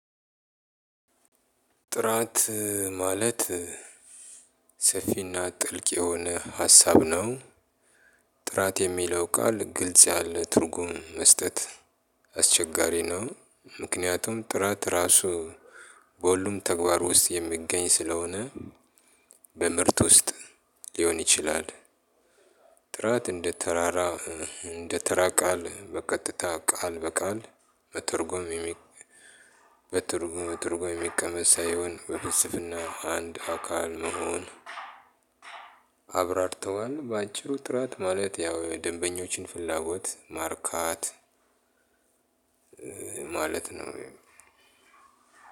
ጥራት ማለት ሰፊ እና ጥልቅ የሆነ ሀሳብ ነው። ጥራት የሚለው ቃል ግልጽ ያለ ትርጉም መስጠት አስቸጋሪ ነው። ምክንያቱም ጥራት እራሱ በሁሉም ተግባር ውስጥ የሚገኝ ስለሆነ። በምርት ውስጥ ሊሆን ይችላል። ጥራት እንደ ተራራ እንደ ተራ ቃል በቀጥታ ቃል በቃል በትርጉም በትርጉም የሚቀመጥ ሳይሆን በፍልስፍና አንድ ፈካ የምሆን። አብራርተዋል በአጭሩ ጥራት ማለት ያው የደንበኞችን ፍላጎት ማርካት። ማለት ነው።